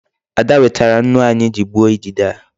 Ada wetara nnu anyị ji gbuo idide a.